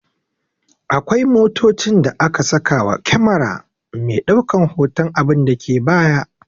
Akwai motocin da aka saka wa kyamera me daukan hotan abinda ke baya